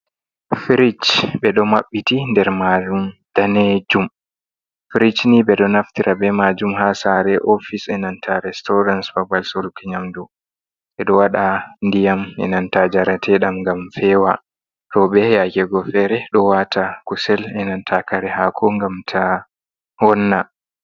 Firij ɓe ɗo mabbiti, nder maajum danejum. firij ni ɓe ɗo naftira be majum ha sare, ofis, e nanta restaurants babal soruki nyamdu. Ɓe ɗo wada ndiyam, e nanta njareteedam ngam fewa. Robe yake go fere ɗo wata kusel, e nanta kare haako ngam ta vonna.